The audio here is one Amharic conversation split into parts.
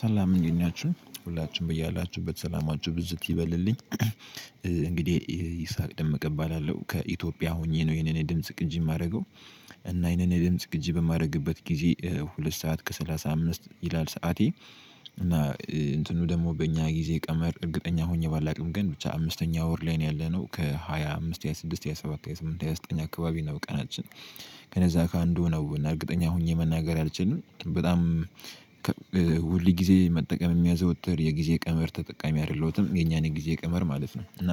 ሰላም እንዴት ናችሁ ሁላችንም በእያላችሁበት ሰላማችሁ ብዝት ይበልልኝ። እንግዲህ ይስሐቅ ደምቀ እባላለው ከኢትዮጵያ ሆኜ ነው ይሄንን የድምጽ ቅጂ የማደርገው። እና ይሄንን የድምጽ ቅጂ በማደርግበት ጊዜ ሁለት ሰዓት ከሰላሳ አምስት ይላል ሰዓቴ። እና እንትኑ ደግሞ በእኛ ጊዜ ቀመር እርግጠኛ ሆኜ ባላውቅም ግን ብቻ አምስተኛ ወር ላይ ነው ያለነው ከሃያ አምስት ሃያ ስድስት ሃያ ሰባት ሃያ ስምንት ሃያ ዘጠኝ አካባቢ ነው። ቀናችን ከነዛ ከአንዱ ነው እርግጠኛ ሆኜ መናገር አልችልም። በጣም ሁል ጊዜ መጠቀም የሚያዘወትር የጊዜ ቀመር ተጠቃሚ አይደለሁትም የኛን የጊዜ ቀመር ማለት ነው። እና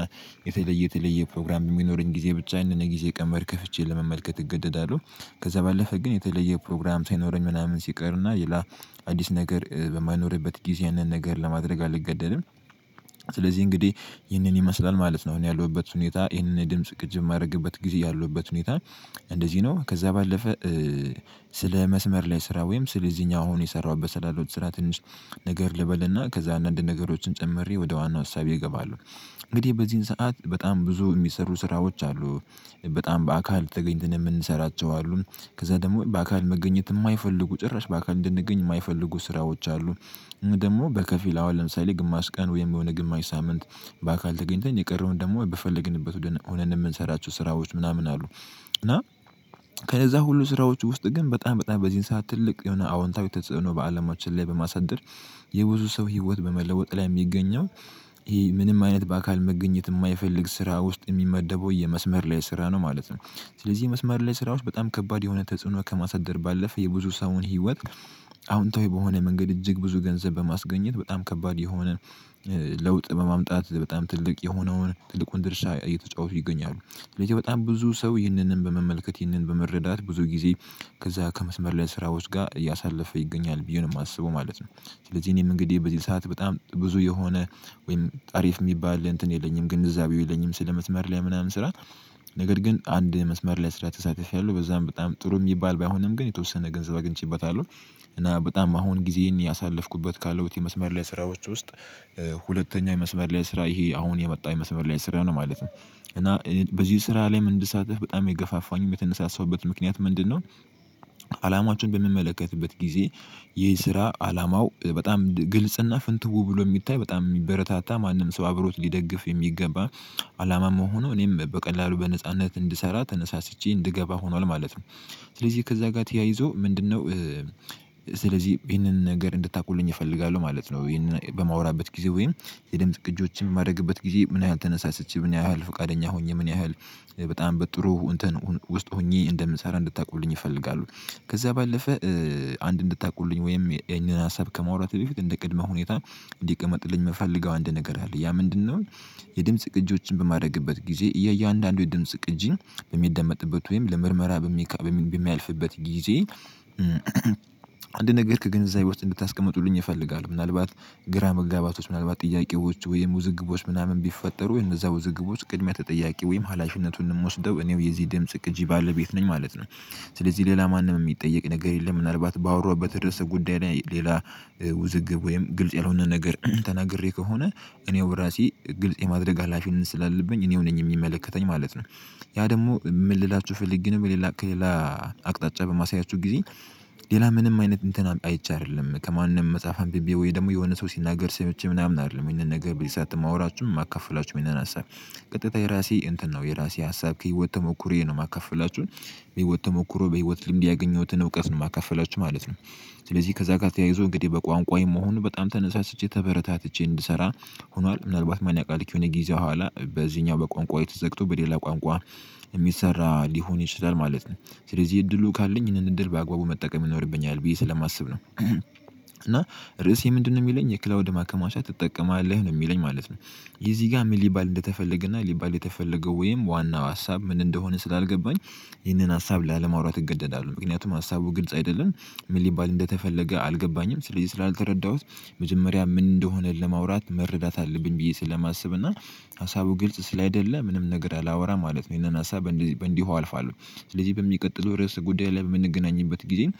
የተለየ የተለየ ፕሮግራም የሚኖረኝ ጊዜ ብቻ የነበረ ጊዜ ቀንበር ከፍቼ ለመመልከት እገደዳለሁ። ከዛ ባለፈ ግን የተለየ ፕሮግራም ሳይኖረኝ ምናምን ሲቀርና ሌላ አዲስ ነገር በማይኖርበት ጊዜ ያንን ነገር ለማድረግ አልገደድም። ስለዚህ እንግዲህ ይህንን ይመስላል ማለት ነው። እኔ ያለሁበት ሁኔታ ይህንን የድምጽ ቅጅ የማደርግበት ጊዜ ያለውበት ሁኔታ። እንደዚህ ነው። ከዛ ባለፈ ስለ መስመር ላይ ስራ ወይም ስለዚህኛው አሁን የሰራሁበት ስላለው ትስራ ትንሽ ነገር ልበልና ከዛ አንዳንድ ነገሮችን ጨምሬ ወደ ዋናው አሳቢ እገባለሁ። እንግዲህ በዚህን ሰዓት በጣም ብዙ የሚሰሩ ስራዎች አሉ። በጣም በአካል ተገኝተን የምንሰራቸው አሉ። ከዛ ደግሞ በአካል መገኘት የማይፈልጉ ጭራሽ በአካል እንድንገኝ የማይፈልጉ ስራዎች አሉን። ደግሞ በከፊል አሁን ለምሳሌ ግማሽ ቀን ወይም የሆነ ግማሽ ሳምንት በአካል ተገኝተን የቀረውን ደግሞ በፈለግንበት ሆነን የምንሰራቸው ስራዎች ምናምን አሉ። እና ከነዛ ሁሉ ስራዎች ውስጥ ግን በጣም በጣም በዚህን ሰዓት ትልቅ የሆነ አዎንታዊ ተጽዕኖ በአለማችን ላይ በማሳደድር። የብዙ ሰው ህይወት በመለወጥ ላይ የሚገኘው ይሄ ምንም አይነት በአካል መገኘት የማይፈልግ ስራ ውስጥ የሚመደበው የመስመር ላይ ስራ ነው ማለት ነው። ስለዚህ የመስመር ላይ ስራዎች በጣም ከባድ የሆነ ተጽዕኖ ከማሳደር ባለፈ የብዙ ሰውን ህይወት። አወንታዊ በሆነ መንገድ እጅግ ብዙ ገንዘብ በማስገኘት በጣም ከባድ የሆነ ለውጥ በማምጣት በጣም ትልቅ የሆነውን ትልቁን ድርሻ እየተጫወቱ ይገኛሉ። ስለዚህ በጣም ብዙ ሰው ይህንን በመመልከት ይህንን በመረዳት ብዙ ጊዜ ከዛ ከመስመር ላይ ስራዎች ጋር እያሳለፈ ይገኛል ብዬ ነው የማስበው ማለት ነው። ስለዚህ እኔም እንግዲህ በዚህ ሰዓት በጣም ብዙ የሆነ ወይም አሪፍ የሚባል እንትን የለኝም ግንዛቤው የለኝም ስለ መስመር ላይ ምናምን ስራ። ነገር ግን አንድ መስመር ላይ ስራ ተሳትፌያለው በዛም በጣም ጥሩ የሚባል ባይሆንም ግን የተወሰነ ገንዘብ አግኝቼበታለሁ። እና በጣም አሁን ጊዜ ያሳለፍኩበት ካለው የመስመር ላይ ስራዎች ውስጥ ሁለተኛ የመስመር ላይ ስራ ይሄ አሁን የመጣ የመስመር ላይ ስራ ነው ማለት ነው። እና በዚህ ስራ ላይ ምን እንድሳተፍ በጣም የገፋፋኝ የምትነሳሰውበት ምክንያት ምንድነው? አላማችን በምመለከትበት ጊዜ ይህ ስራ አላማው በጣም ግልጽና ፍንትው ብሎ የሚታይ በጣም የሚበረታታ ማንም ሰው አብሮት ሊደግፍ የሚገባ አላማም ሆኖ እኔም በቀላሉ በነጻነት እንድሰራ ተነሳስቼ እንድገባ ሆኗል ማለት ነው። ስለዚህ ከዛ ጋር ተያይዞ ምንድነው? ስለዚህ ይሄንን ነገር እንድታውቁልኝ እፈልጋለሁ ማለት ነው። ይህንን በማውራበት ጊዜ ወይም የድምጽ ቅጆችን የማደርግበት ጊዜ ምን ያህል ተነሳሳች ምን ያህል ፈቃደኛ ሆኜ ምን ያህል በጣም በጥሩ ውስጥ ሆኜ እንደምሰራ እንድታውቁልኝ ይፈልጋሉ? ከዛ ባለፈ አንድ እንድታውቁልኝ ወይም የኛን ሀሳብ ከመውራት በፊት እንደ ቅድመ ሁኔታ እንዲቀመጥልኝ የምፈልገው አንድ ነገር አለ ያ ምንድነው? የድምጽ ቅጂዎችን በማድረግበት ጊዜ እያየ አንዳንዱ የድምጽ ቅጂን የሚደመጥበት ወይም ለምርመራ በሚያልፍበት ጊዜ እንድ ነገርክ ከግንዛቤ ውስጥ እንድታስቀምጡልኝ እፈልጋለሁ። ምናልባት ግራ መጋባቶች ምናልባት ጥያቄዎች ወይም ውዝግቦች ምናምን ቢፈጠሩ የነዛ ውዝግቦች ቅድሚያ ተጠያቂ ወይም ሀላፊነቱን እንደምወስደው እኔው የዚህ ድምጽ ቅጂ ባለቤት ነኝ ማለት ነው። ስለዚህ ሌላ ማንም የሚጠየቅ ነገር የለም። ምናልባት ባወራሁበት ርዕሰ ጉዳይ ሌላ ውዝግብ ወይም ግልጽ ያልሆነ ነገር ተናግሬ ከሆነ እኔው በራሴ ግልጽ የማድረግ አላፊን ስላለብኝ እኔው ነኝ የሚመለከተኝ ማለት ነው። ያ ደግሞ ምን ልላችሁ ፈልጌ ነው? ምን ሌላ በማሳያችሁ ጊዜ ሌላ ምንም አይነት እንትን አይቼ አይደለም ከማንም መጽሐፍ አንብቤ ወይ ደግሞ የሆነ ሰው ሲናገር ሰይቼ ምናምን አይደለም ይሄንን ነገር በዚህ ሰዓት ማውራችሁም የማከፍላችሁ ይህንን ሀሳብ ቀጥታ የራሴ እንትን ነው የራሴ ሀሳብ ከህይወት ተሞክሮ ነው የማካፈላችሁን። በህይወት ተሞክሮ በህይወት ልምድ ያገኘሁትን እውቀት ነው የማካፈላችሁ ማለት ነው። ስለዚህ ከዛ ጋር ተያይዞ እንግዲህ በቋንቋዬ መሆኑ በጣም ተነሳስቼ ተበረታትቼ እንድሰራ። ሆኗል ምናልባት ማን ያውቃል ከሆነ ጊዜ ኋላ በዚህኛው በቋንቋው የተዘግቶ በሌላ ቋንቋ የሚሰራ ሊሆን ይችላል ማለት ነው። ስለዚህ እድሉ ካለኝ ይህንን እድል በአግባቡ መጠቀም ይኖርብኛል ብዬ ስለማስብ ነው። እና ርዕሴ ምንድነው? የሚለኝ የክላውድ ማከማቻ ትጠቀማለህ ነው የሚለኝ ማለት ነው። ይሄ ጋር ምን ሊባል እንደተፈለገና ሊባል የተፈለገው ወይም ዋናው ሀሳብ ምን እንደሆነ ስላልገባኝ። ይህንን ሀሳብ ላለማውራት እገደዳለሁ። ምክንያቱም ሀሳቡ ግልጽ አይደለንም ምን ሊባል እንደተፈለገ አልገባኝም። ስለዚህ ስላልተረዳሁት። መጀመሪያ ምን እንደሆነ ለማውራት መረዳት አለብኝ ብዬ ስለማስብ እና ሀሳቡ ግልጽ ስላይደለ ምንም ነገር አላወራም ማለት ነው። ይሄን አሳብ በእንዲህ እንዲህ አልፋለሁ። ስለዚህ በሚቀጥለው ርዕስ ጉዳይ ላይ የምንገናኝበት ጊዜን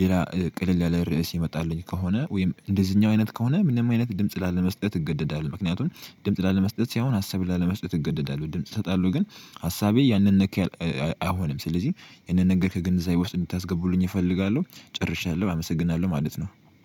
ሌላ ቀለል ያለ ርዕስ የመጣልኝ ከሆነ ወይም እንደዚህኛው አይነት ከሆነ ምንም አይነት ድምጽ ላለመስጠት እገደዳለሁ ምክንያቱም። ድምጽ ላለመስጠት ሲሆን ሀሳብ ላለመስጠት እገደዳለሁ ድምጽ እሰጣለሁ ግን ሀሳቤ ያንን ነካ። አይሆንም ስለዚህ ያንን ነገር ከግንዛቤ ውስጥ እንድታስገቡልኝ እፈልጋለሁ። ጨርሻለሁ አመሰግናለሁ ማለት ነው